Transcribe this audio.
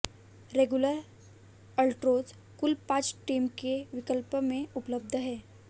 regular Altroz कुल पांच trim के विकल्प में उपलब्ध है